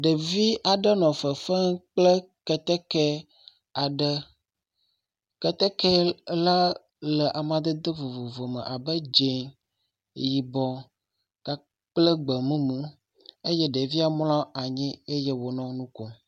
Ɖevi aɖe nɔ fefem kple kɛtɛkɛ aɖe. Kɛtɛkɛ la le amadede vovovo me abe dzĩ, yibɔ kple gbemumu eye ɖevia mlɔ anyi eye wònɔ nu kom.